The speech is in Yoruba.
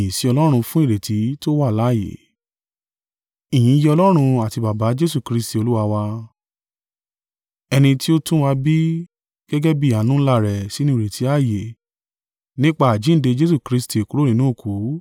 Ìyìn yẹ Ọlọ́run àti Baba Jesu Kristi Olúwa wa! Ẹni tí ó tún wa bí gẹ́gẹ́ bí àánú ńlá rẹ̀ sínú ìrètí ààyè nípa àjíǹde Jesu Kristi kúrò nínú òkú,